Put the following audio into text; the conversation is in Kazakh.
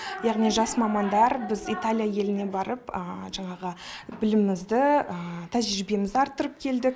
яғни жас мамандар біз италия еліне барып жаңағы білімімізді тәжірибемізді арттырып келдік